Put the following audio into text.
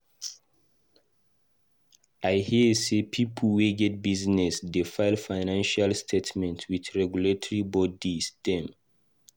I hear sey pipo wey get business dey file financial statement with regulatory bodies dem.